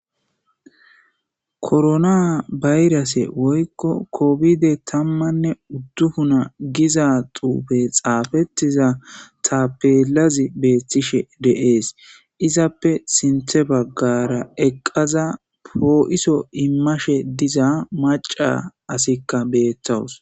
Korona bayrase woykko kofide tammanne uddufuna giza xuufe xaafettiza tapelazi beettishe deees izappe sinthe baggara eqqaza poo7iso immashe diza maca asikka beettawus.